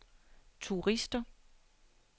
turister